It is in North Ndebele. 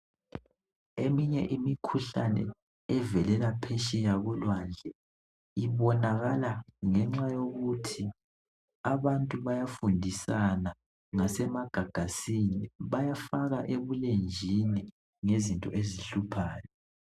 Eminye imikhuhlane evelela phetsheya kulwandle ibonakala ngenxa yokuthi abantu bayafundisana ngasemagagaseni bayafaka ekulenjini ngezinto ezihluphayo